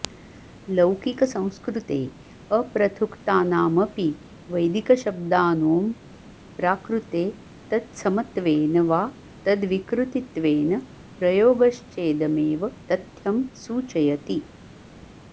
लौकिकसंस्कृते अप्रथुक्तानामपि वैदिकशब्दांनों प्राकृते तत्समत्वेन वा तद्विकृतित्वेन प्रयोगश्चेदमेव तथ्यं सूचयति